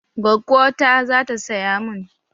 Gwaggo ta zata saya mun